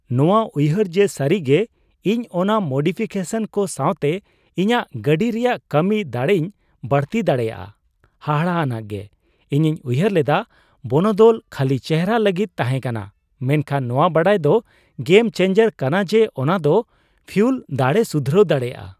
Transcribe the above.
ᱱᱚᱶᱟ ᱩᱭᱦᱟᱹᱨ ᱡᱮ ᱥᱟᱹᱨᱤᱜᱮ ᱤᱧ ᱚᱱᱟ ᱢᱳᱰᱤᱯᱷᱤᱠᱮᱥᱚᱱ ᱠᱚ ᱥᱟᱣᱛᱮ ᱤᱧᱟᱹᱜ ᱜᱟᱹᱰᱤ ᱨᱮᱭᱟᱜ ᱠᱟᱹᱢᱤ ᱫᱟᱹᱲᱮᱧ ᱵᱟᱹᱲᱛᱤ ᱫᱟᱲᱮᱭᱟᱜᱼᱟ ᱦᱟᱦᱟᱲᱟᱱᱟ ᱜᱮ ᱾ ᱤᱧᱤᱧ ᱩᱭᱦᱟᱹᱨ ᱞᱮᱫᱟ ᱵᱚᱱᱚᱫᱚᱞ ᱠᱷᱟᱹᱞᱤ ᱪᱮᱦᱨᱟ ᱞᱟᱹᱜᱤᱫ ᱛᱟᱦᱮᱸᱠᱟᱱᱟ, ᱢᱮᱱᱠᱷᱟᱱ ᱱᱚᱣᱟ ᱵᱟᱰᱟᱭ ᱫᱚ ᱜᱮᱢ ᱪᱮᱱᱡᱟᱨ ᱠᱟᱱᱟ ᱡᱮ ᱚᱱᱟ ᱫᱚ ᱯᱷᱤᱩᱣᱞ ᱫᱟᱲᱮᱭ ᱥᱩᱫᱷᱨᱟᱹᱣ ᱫᱟᱲᱮᱭᱟᱜᱼᱟ ᱾